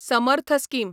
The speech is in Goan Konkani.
समर्थ स्कीम